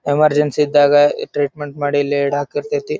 Emergency ಇದ್ದಾಗ treatment ಮಾಡಿ ಇಲ್ಲಿ ಇಡಕ್ ಇರತೈತಿ.